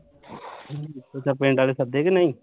ਅੱਛਾ ਪਿੰਡ ਆਲੇ ਸੱਦੇ ਕਿ ਨਹੀਂ